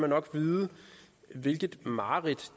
nok vide hvilket mareridt